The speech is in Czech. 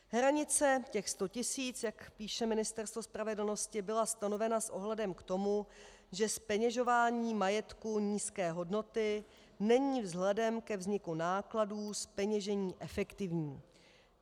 Hranice, těch 100 tisíc, jak píše Ministerstvo spravedlnosti, byla stanovena s ohledem k tomu, že zpeněžování majetku nízké hodnoty není vzhledem ke vzniku nákladů zpeněžení efektivní.